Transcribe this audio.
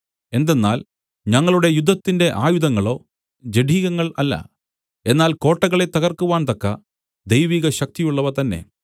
എന്തെന്നാൽ ഞങ്ങളുടെ യുദ്ധത്തിന്റെ ആയുധങ്ങളോ ജഡികങ്ങൾ അല്ല എന്നാൽ കോട്ടകളെ തകർക്കുവാൻ തക്ക ദൈവിക ശക്തിയുള്ളവ തന്നെ